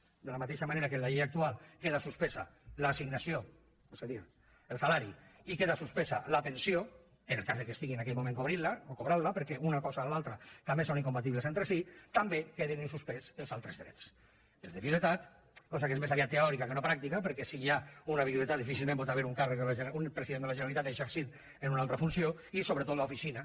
de la mateixa manera que en la llei actual queda suspesa l’assignació és a dir el salari i queda suspesa la pensió en el cas que estigui en aquell moment cobrant la perquè una cosa o l’altra també són incompatibles entre si també queden en suspès els altres drets els de viduïtat cosa que és més aviat teòrica que no pràctica perquè si hi ha una viduïtat difícilment pot haver hi un president de la generalitat exercint en una altra funció i sobretot l’oficina